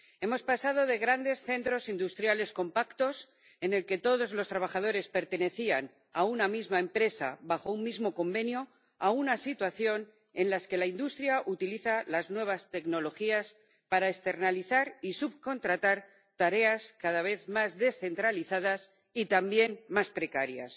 Hemos pasado de grandes centros industriales compactos, en los que todos los trabajadores pertenecían a una misma empresa bajo un mismo convenio, a una situación en la que la industria utiliza las nuevas tecnologías para externalizar y subcontratar tareas cada vez más descentralizadas y también más precarias,